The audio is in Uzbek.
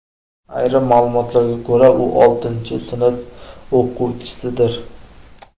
Ayrim ma’lumotlarga ko‘ra, u oltinchi sinf o‘quvchisidir.